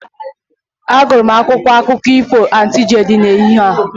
Agụrụ m akwụkwọ akụkọ ifo Aunty Julie n'ehihie a